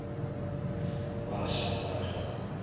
ba re šako la hloka